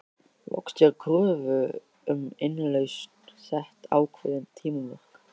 Loks er kröfu um innlausn sett ákveðin tímamörk.